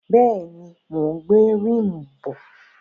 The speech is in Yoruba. Bẹ́ẹ̀ni, mò ń gbé ríìmù bọ̀.